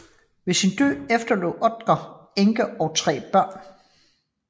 Ved sin død efterlod Oeder enke og tre børn